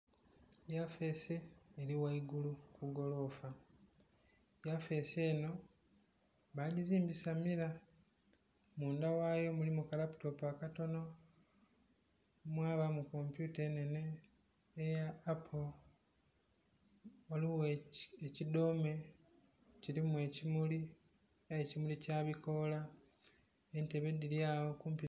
Yafeesi eri ghaigulu kugolofa, yafeesi eno bajizimbisa mira munda ghaayo mulimu kalaputopu akatono mwabamu kompyuta enhenhe eya paapo ghaligho ekidoome kirimu ekimuli aye ekimuli kyabikoola entebe dhiryagho kumpi....